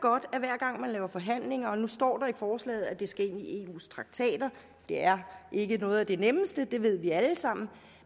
jeg har forhandlinger og nu står der i forslaget at det skal ind i eus traktater det er ikke noget af det nemmeste det ved vi alle sammen